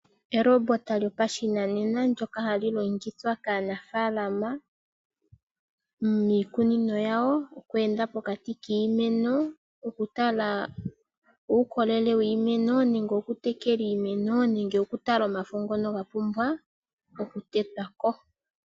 Elobota lyopashinanena ndoka hali longithwa kaanafaalama miikunino yawo oku enda pokati kiimeno, oku tala uukolele wiimeno, oku tekela iimeno nenge okutala omafo ngono gapumbwa oku tetwako .